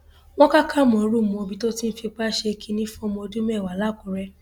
wọn ka kámórù mọbí tó ti ń fipá ṣe kínní fọmọ ọdún mẹwàá làkúrè